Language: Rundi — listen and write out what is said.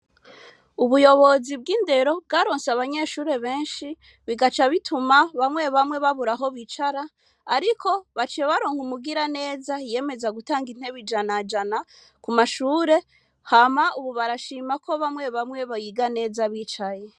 Ubuyobozi bw'indero bwaronse aabanyeshure benshi bigaca bituma bamye bamye babura aho bicara ariko baciye baronka umugira neza yiyemeza gutanga intebe ijana jana kumashure ubu barashima bamye bamye biga neza bicaye